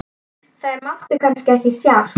Þær máttu kannski ekki sjást?